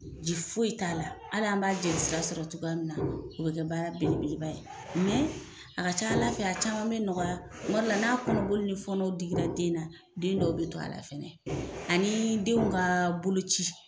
Ji foyi t'a la hali an b'a jelisira sɔrɔ cogoya min na o bɛ kɛ baara belebeleba ye a ka ca Ala fɛ a caman bɛ nɔgɔya kumadɔ la n'a kɔnɔoli ni fɔnɔw digira denna den dɔw bɛ do a la fɛnɛ ani denw ka boloci.